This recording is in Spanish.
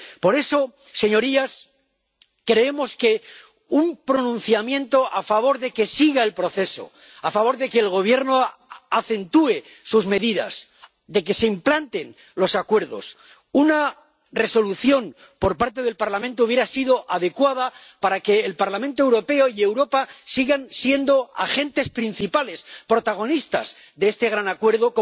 Por eso, señorías, creemos que un pronunciamiento a favor de que siga el proceso, a favor de que el Gobierno acentúe sus medidas, de que se implanten los acuerdos, una Resolución por parte del Parlamento hubiera sido adecuada para que el Parlamento Europeo y Europa sigan siendo agentes principales, protagonistas de este gran acuerdo.